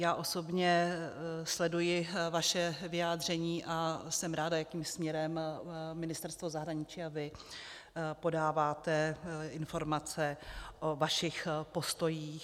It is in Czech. Já osobně sleduji vaše vyjádření a jsem ráda, jakým směrem Ministerstvo zahraničí a vy podáváte informace o vašich postojích.